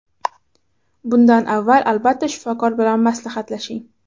Bundan avval albatta shifokor bilan maslahatlashing.